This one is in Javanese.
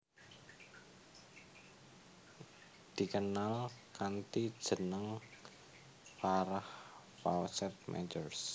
Dikenal kanthi jeneng Farrah Fawcett Majors